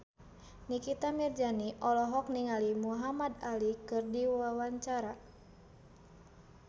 Nikita Mirzani olohok ningali Muhamad Ali keur diwawancara